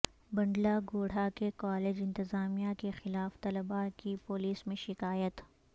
بنڈلہ گوڑہ کے کالج انتظامیہ کیخلاف طلباء کی پولیس میں شکایت